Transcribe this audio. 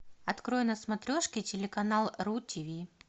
открой на смотрешке телеканал ру ти ви